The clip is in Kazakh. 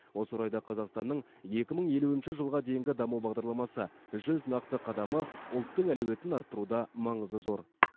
осы орайда қазақстанның екі мың елуінші жылға дейінгі даму бағдарламасы жүз нақты қадамы ұлттың әлеуетін арттыруда маңызы зор